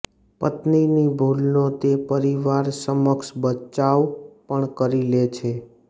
પત્નીની ભૂલનો તે પરિવાર સમક્ષ બચાવ પણ કરી લે છે